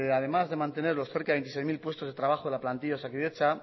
además de mantener los cerca de veintiséis mil puestos de trabajo en la plantilla de osakidetza